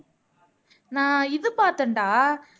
நான் இது பார்த்தேன்டா